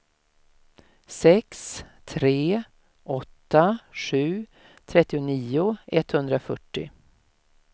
sex tre åtta sju trettionio etthundrafyrtio